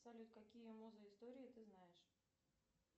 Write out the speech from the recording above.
салют какие музы истории ты знаешь